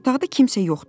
Otaqda kimsə yoxdu.